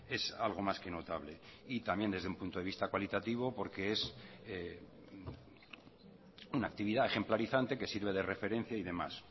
es algo más que notable y también desde un punto de vista cualitativo porque es una actividad ejemplarizante que sirve de referencia y demás